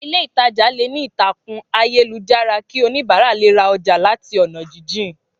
Ilé ìtajà leè ní ìtàkùn ayélujára ki oníbàárà le ra oja làti ònà jíjìn